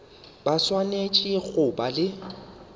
ba swanetše go ba le